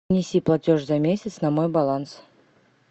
внеси платеж за месяц на мой баланс